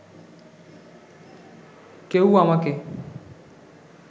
কেউ আমাকে